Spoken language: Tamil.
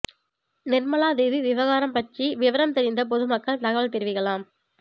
நிர்மலா தேவி விவகாரம் பற்றி விவரம் தெரிந்த பொதுமக்கள் தகவல் தெரிவிக்கலாம்